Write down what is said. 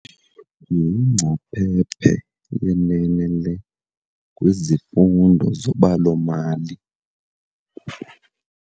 Yingcaphephe yenene le kwizifundo zobalo-mali.